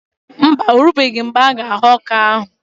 Mba, orubeghi mgbe a-ga aghọ ọka ahụ